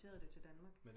Implanteret det til Danmark